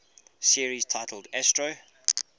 series titled astro